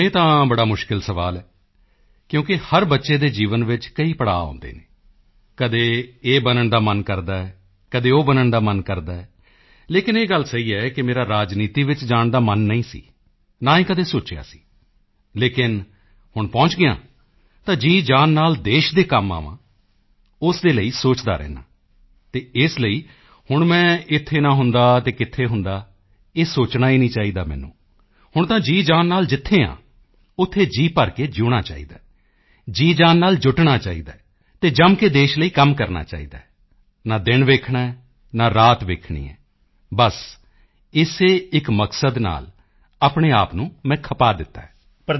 ਹੁਣ ਇਹ ਤਾਂ ਬੜਾ ਮੁਸ਼ਕਿਲ ਸਵਾਲ ਹੈ ਕਿਉਂਕਿ ਹਰ ਬੱਚੇ ਦੇ ਜੀਵਨ ਵਿੱਚ ਕਈ ਪੜਾਅ ਆਉਂਦੇ ਹਨ ਕਦੇ ਇਹ ਬਣਨ ਦਾ ਮਨ ਕਰਦਾ ਹੈ ਕਦੇ ਉਹ ਬਣਨ ਦਾ ਮਨ ਕਰਦਾ ਹੈ ਲੇਕਿਨ ਇਹ ਗੱਲ ਸਹੀ ਹੈ ਕਿ ਮੇਰਾ ਰਾਜਨੀਤੀ ਵਿੱਚ ਜਾਣ ਦਾ ਮਨ ਨਹੀਂ ਸੀ ਨਾ ਹੀ ਕਦੇ ਸੋਚਿਆ ਸੀ ਲੇਕਿਨ ਹੁਣ ਪਹੁੰਚ ਗਿਆ ਹਾਂ ਤਾਂ ਜੀਜਾਨ ਨਾਲ ਦੇਸ਼ ਦੇ ਕੰਮ ਆਵਾਂ ਉਸ ਦੇ ਲਈ ਸੋਚਦਾ ਰਹਿੰਦਾ ਹਾਂ ਅਤੇ ਇਸ ਲਈ ਹੁਣ ਮੈਂ ਇੱਥੇ ਨਾ ਹੁੰਦਾ ਤਾਂ ਕਿੱਥੇ ਹੁੰਦਾ ਇਹ ਸੋਚਣਾ ਹੀ ਨਹੀਂ ਚਾਹੀਦਾ ਮੈਨੂੰ ਹੁਣ ਤਾਂ ਜੀਜਾਨ ਨਾਲ ਜਿੱਥੇ ਹਾਂ ਉੱਥੇ ਜੀਅ ਭਰ ਕੇ ਜਿਊਣਾ ਚਾਹੀਦਾ ਹੈ ਜੀਜਾਨ ਨਾਲ ਜੁਟਣਾ ਚਾਹੀਦਾ ਹੈ ਅਤੇ ਜੰਮ ਕੇ ਦੇਸ਼ ਦੇ ਲਈ ਕੰਮ ਕਰਨਾ ਚਾਹੀਦਾ ਹੈ ਨਾ ਦਿਨ ਵੇਖਣਾ ਹੈ ਨਾ ਰਾਤ ਵੇਖਣੀ ਹੈ ਬਸ ਇਸੇ ਇਕ ਮਕਸਦ ਨਾਲ ਆਪਣੇ ਆਪ ਨੂੰ ਮੈਂ ਖ਼ਪਾ ਦਿੱਤਾ ਹੈ